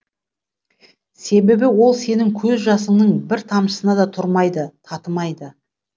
себебі ол сенің көз жасыңның бір тамшысына да тұрмайды татымайды